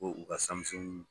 Ko u ka